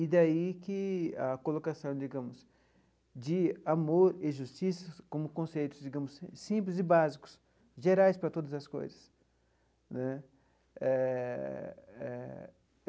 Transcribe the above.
E daí que a colocação, digamos, de amor e justiça como conceitos, digamos, simples e básicos, gerais para todas as coisas né eh eh.